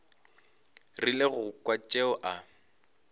rile go kwa tšeo a